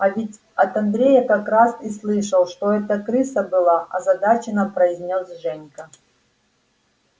а я ведь от андрея как раз и слышал что это крыса была озадаченна произнёс женька